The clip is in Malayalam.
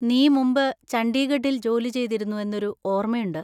നീ മുമ്പ് ചണ്ഡീഗഡിൽ ജോലി ചെയ്തിരുന്നു എന്നൊരു ഓർമയുണ്ട്.